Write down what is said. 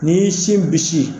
N'i y'i sin bisi